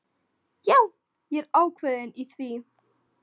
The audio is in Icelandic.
Já, ég er ákveðinn í því.